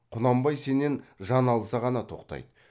құнанбай сенен жан алса ғана тоқтайды